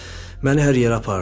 Məni hər yerə apardı.